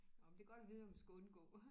Nåh men det er godt at vide hvad man skal undgå